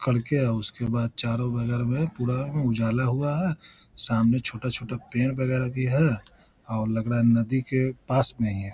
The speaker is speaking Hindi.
कर के आ उसके बाद चारो में पूरा उजाला हुआ है सामने छोटा छोटा पेड़ वगैरह भी है और लग रहा है नदी के पास में ही है ।